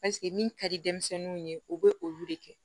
Paseke min ka di denmisɛnninw ye u bɛ olu de kɛ